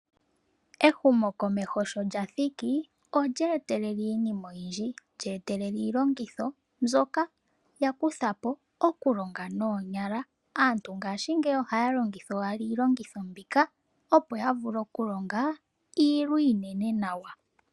Ehumo komeho sho lathiki olye etelela iinima oyindji, lyetelele iilongitho, mbyoka ya kutha po okulonga noonyala. Aantu ngaashingeyi ohaya longitha owala iilongitho mbika opo yavule okulonga iilwa iinene nawa.